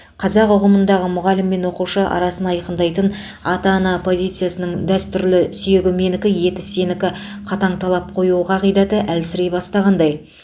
қазақ ұғымындағы мұғалім мен оқушы арасын айқындайтын ата ана позициясының дәстүрлі сүйегі менікі еті сенікі қатаң талап қою қағидаты әлсірей бастағандай